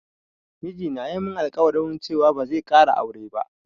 Miji na ya min alƙwari cewa ba zai ƙara aure ba